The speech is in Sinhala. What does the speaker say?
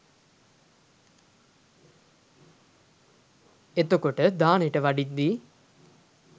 එතකොට දානෙට වඩිද්දී